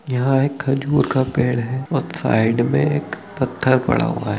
यहाँ एक खजूर का पेड़ है और साइड में एक पत्थर पड़ा हुआ है ।